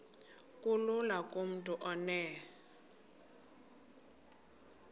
kulula kumntu onen